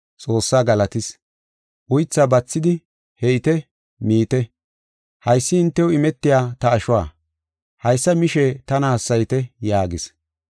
Xoossaa galatis. Uythaa bathidi “He7ite; miite. Haysi hintew imetiya ta ashuwa. Haysa mishe tana hassayite” yaagis.